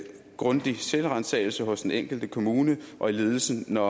grundig selvransagelse hos den enkelte kommune og i ledelsen når